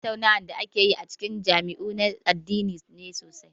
Tattaunawar da ake yi a cikin majami'u na addini ne sosai.